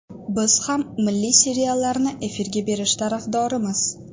Biz ham milliy seriallarni efirga berish tarafdorimiz.